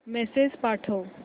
message पाठव